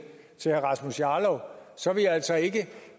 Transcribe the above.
til herre rasmus jarlov vil jeg altså ikke